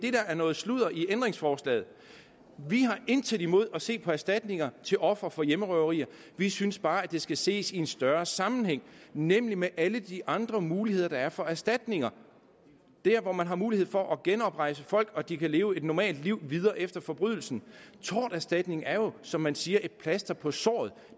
er noget sludder i ændringsforslaget vi har intet imod at se på erstatningerne til ofre for hjemmerøverier vi synes bare at det skal ses i en større sammenhæng nemlig med alle de andre muligheder der er for erstatninger der hvor man har mulighed for at genrejse folk og de kan leve et normalt liv efter forbrydelsen torterstatning er jo som man siger et plaster på såret